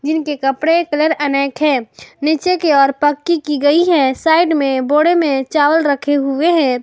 इनके कपड़े कलर अनेक है नीचे के ओर पक्की की गई है साइड में बोड़े में चावल रखे हुए हैं।